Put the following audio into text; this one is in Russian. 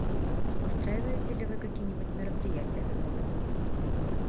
устраиваете ли вы какие нибудь мероприятия на новый год